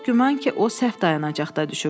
Çox güman ki, o səhv dayanacaqda düşüb.